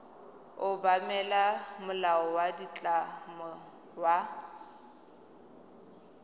obamela molao wa ditlamo wa